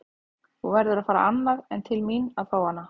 Þú verður að fara annað en til mín að fá hana.